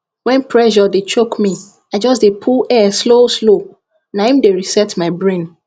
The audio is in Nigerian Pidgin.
when pressure dey choke me i just dey pull air slow slow na im dey reset my brain